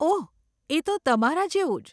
ઓહ, એ તો તમારા જેવું જ.